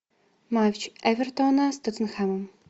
матч эвертона с тоттенхэмом